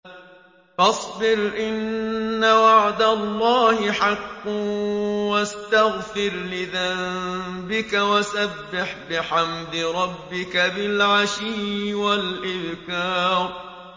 فَاصْبِرْ إِنَّ وَعْدَ اللَّهِ حَقٌّ وَاسْتَغْفِرْ لِذَنبِكَ وَسَبِّحْ بِحَمْدِ رَبِّكَ بِالْعَشِيِّ وَالْإِبْكَارِ